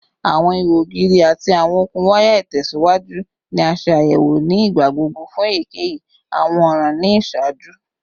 Awọn iho ogiri ati awọn okun waya itẹsiwaju ni a ṣe ayẹwo ni igbagbogbo fun eyikeyi awọn ọran ni iṣaaju